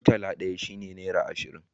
murtala ɗaya shi ne nera ashirin